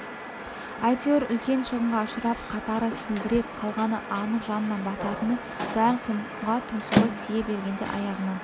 әйтеуір үлкен шығынға ұшырап қатары селдіреп қалғаны анық жанына бататыны дәл құмға тұмсығы тие бергенде аяғынан